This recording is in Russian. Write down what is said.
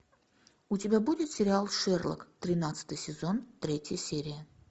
у тебя будет сериал шерлок тринадцатый сезон третья серия